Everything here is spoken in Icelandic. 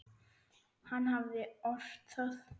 Hann hafði ort það.